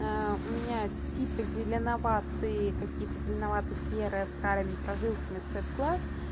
у меня типа зеленоватые какие-то зеленовато серые с карьеми прожилками цвет глаз